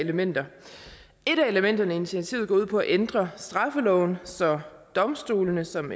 elementer et af elementerne i initiativet går ud på at ændre straffeloven så domstolene som